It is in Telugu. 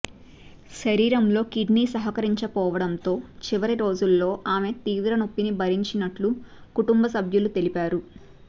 శరీరంలో కిడ్నీ సహకరించకపోవడంతో చివరి రోజుల్లో ఆమె తీవ్ర నొప్పిని భరించినట్లు కుటుంబ సభ్యులు తెలిపారు